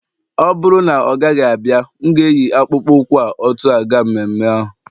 ọ bụrụ na ọ gaghị abịa, m ga-eyi akpụkpọ ụkwụ a otú a ga mmemme ahụ